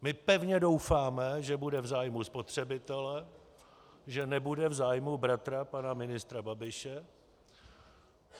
My pevně doufáme, že bude v zájmu spotřebitele, že nebude v zájmu bratra pana ministra Babiše.